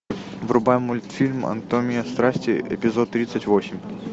врубай мультфильм анатомия страсти эпизод тридцать восемь